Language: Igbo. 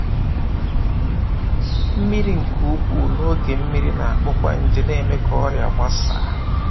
“Mmiri nke ukwuu n’oge mmiri na-akpọkwa nje na-eme ka ọrịa gbasaa.